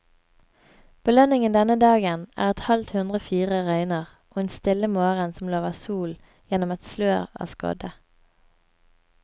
Belønningen denne dagen er et halvt hundre fine røyer, og en stille morgen som lover sol gjennom et slør av skodde.